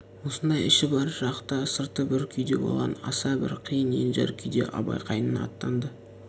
осындай іші бір жақта сырты бір күйде болған аса бір қиын енжар күйде абай қайнына аттанды